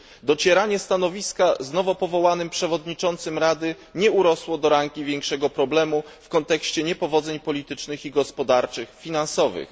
Docieranie stanowiska z nowo powołanym przewodniczącym Rady nie urosło do rangi większego problemu w kontekście niepowodzeń politycznych, gospodarczych i finansowych.